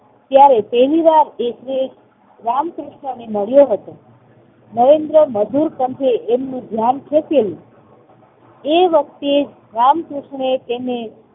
ત્યારે પહેલીવાર એ રામકૃષ્ણ ને મળ્યો હતો. નરેન્દ્ર મજુર પણ છે એમનું ધ્યાન ધકેલ્યું. એ વખતે રામકૃષ્ણએ તેને